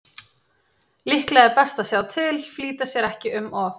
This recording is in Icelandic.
Líklega er best að sjá til, flýta sér ekki um of.